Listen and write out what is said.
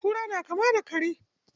Kura na kama da kare.